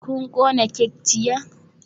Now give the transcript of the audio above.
Kun kona kek jiya?